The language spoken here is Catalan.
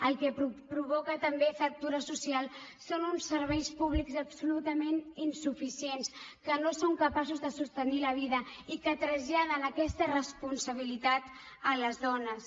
el que provoca també fractura social són uns serveis públics absolutament insuficients que no són capaços de sostenir la vida i que traslladen aquesta responsabilitat a les dones